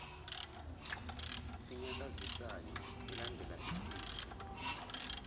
enyakazisayo elandela isigqi